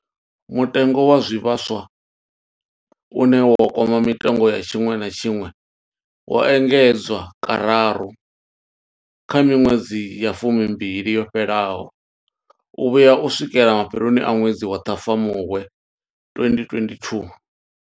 Mutengo wa zwivhaswa, une wa kwama mitengo ya tshiṅwe na tshiṅwe, wo engedzwa kararu kha miṅwedzi ya fumimbili yo fhelaho u vhuya u swikela mafheloni a ṅwedzi wa Ṱhafamuhwe 2022.